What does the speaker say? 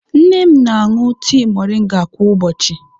Nne m na-aṅụ tii moringa kwa ụbọchị.